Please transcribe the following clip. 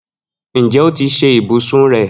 Njẹ o ti ṣe ibusun rẹ?